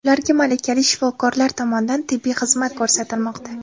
Ularga malakali shifokorlar tomonidan tibbiy xizmat ko‘rsatilmoqda.